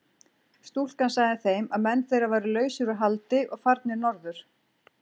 Stúlkan sagði þeim að menn þeirra væru lausir úr haldi og farnir norður.